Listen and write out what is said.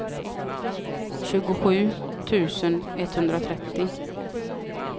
tjugosju tusen etthundratrettio